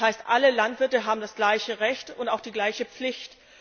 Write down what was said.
Das heißt, alle Landwirte haben das gleiche Recht und auch die gleiche Pflicht.